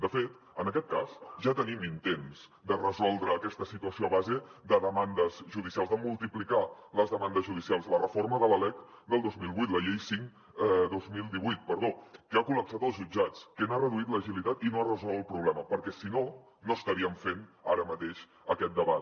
de fet en aquest cas ja tenim intents de resoldre aquesta situació a base de demandes judicials de multiplicar les demandes judicials la reforma de la lec del dos mil vuit la llei cinc dos mil divuit perdó que ha col·lapsat els jutjats que n’ha reduït l’agilitat i no ha resolt el problema perquè si no no estaríem fent ara mateix aquest debat